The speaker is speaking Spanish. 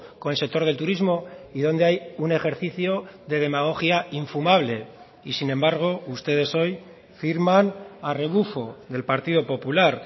con el sector del turismo y donde hay un ejercicio de demagogia infumable y sin embargo ustedes hoy firman a rebufo del partido popular